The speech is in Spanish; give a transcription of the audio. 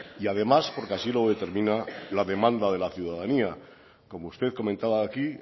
y además porque así lo determina la demanda de la ciudadanía como usted comentaba aquí